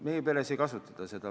Meie peres ei kasutata seda.